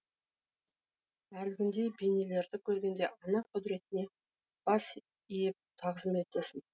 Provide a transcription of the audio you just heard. әлгіндей бейнелерді көргенде ана құдіретіне бас иіп тағзым етесің